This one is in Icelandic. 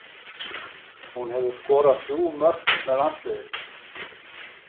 Hún hefur skorað þrjú mörk með landsliðinu.